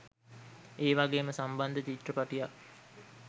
ඒ වගේම සම්බන්ධ චිත්‍රපටියක්.